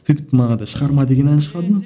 сөйтіп манағыдай шығарма деген ән шығардым